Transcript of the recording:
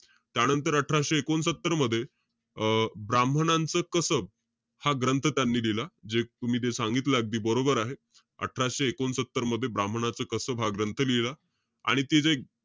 त्यानंतर अठराशे एकोणसत्तर मध्ये, अं ब्राहमणांच कसब, हा ग्रंथ त्यांनी लिहिला. जे तुम्ही ते सांगितलं अगदी बरोबर आहे. अठराशे एकोणसत्तर मध्ये, ब्राम्हणांचं कसब, हा ग्रंथ लिहिला. आणि ते जे,